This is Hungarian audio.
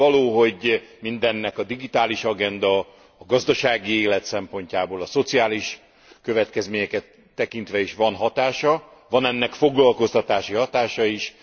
Nyilvánvaló, hogy mindennek a digitális agenda, a gazdasági élet szempontjából, a szociális következményeket tekintve is van hatása. Van ennek foglalkoztatási hatása is.